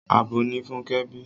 Abo ni Fúnkẹ́ bí.